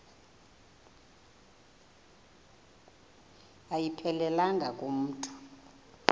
ayiphelelanga ku mntu